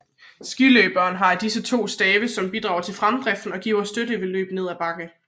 Skiløberen har to af disse stave som bidrager til fremdriften og giver støtte ved løb ned ad bakke